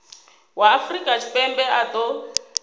wa afrika tshipembe a ṱo